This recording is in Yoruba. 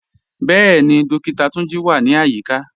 Bẹẹ̀ni, Dókìtà Túnjí wà ní ayíkà.